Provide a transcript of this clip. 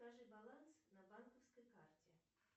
скажи баланс на банковской карте